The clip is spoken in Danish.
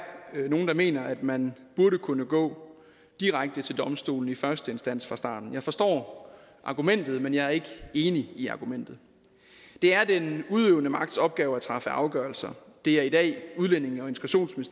nogle der mener at man burde kunne gå direkte til domstolene i første instans fra starten jeg forstår argumentet men jeg er ikke enig i argumentet det er den udøvende magts opgave at træffe afgørelser det er i dag udlændinge